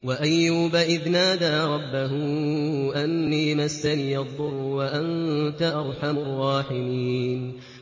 ۞ وَأَيُّوبَ إِذْ نَادَىٰ رَبَّهُ أَنِّي مَسَّنِيَ الضُّرُّ وَأَنتَ أَرْحَمُ الرَّاحِمِينَ